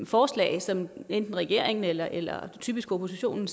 forslag som enten regeringen eller eller typisk oppositionen